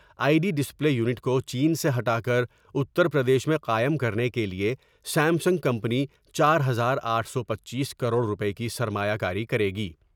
I T display unit کو چین سے ہٹا کر اتر پردیش میں قائم کرنے کے لئے سیم سنگ کمپنی چار ہزار آٹھ سو پنچیس کروڑ روپے کی سرمایا کاری کرے گی ۔